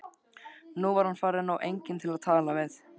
Nú var hann farinn og enginn til að tala við.